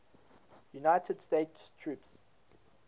united states troops